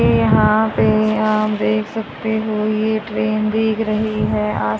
यहां पे आप देख सकते हो ये ट्रेन भीग रही है